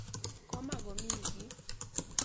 Koma komii kiy.